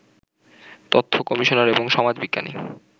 তথ্য কমিশনার এবং সমাজবিজ্ঞানী